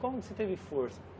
Como que você teve força?